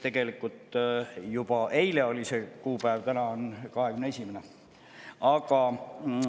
Tegelikult juba eile oli see kuupäev, täna on 21. november.